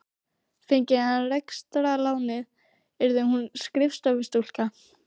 Fengi hann rekstrarlánið yrði hún skrifstofustúlka.